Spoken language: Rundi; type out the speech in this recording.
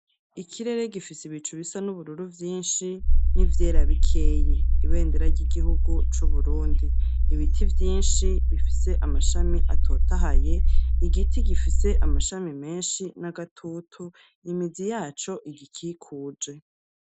Ikirere gifise ibicu bisa n'ubururu vyinshi n'ivyera bikeyi, ibendera ry'igihugu c'Uburundi ibiti vyinshi bifise amashami atotahaye, igiti gifise amashami menshi n'agatutu imizi yaco igikikuje.